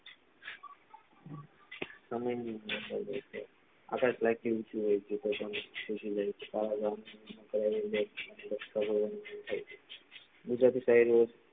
આમાં એ આકાશ life થી ઊંચુ હોય છે ગુજટાતી સાહેબો